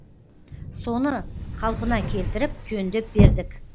соны қалпына келтіріп жөндеп бердік